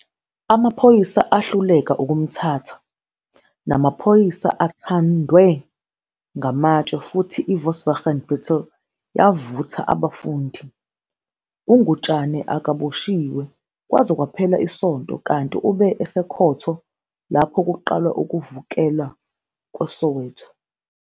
Amaphoyisa ahluleka ukumthatha namaphoyisa athandwe ngamatshe futhi iVolkswagen Beetle yavutha abafundi. U-Ngutshane akaboshiwe kwaze kwaphela isonto kanti ube esekhotho lapho kuqalwa ukuvukela kweSoweto.